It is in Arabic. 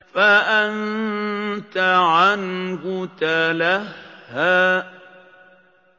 فَأَنتَ عَنْهُ تَلَهَّىٰ